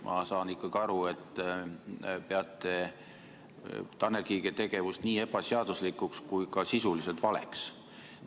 Ma saan ikkagi aru, et te peate Tanel Kiige tegevust nii ebaseaduslikuks kui ka sisuliselt valeks.